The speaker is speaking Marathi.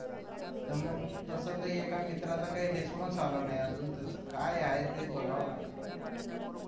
तर मग तस तर एका मित्राचा काही response आला नाही अजून त्याच काय आहे ते बघावं लागेल